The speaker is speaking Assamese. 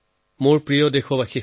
মোৰ মৰমৰ দেশবাসী